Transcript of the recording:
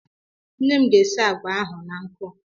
Nne m ga-esi àgwà ahụ na nkụ.